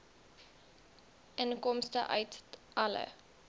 inkomste uit alle